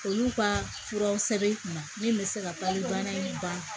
Olu ka furaw sɛbɛn kunna min bɛ se ka pali bana in ban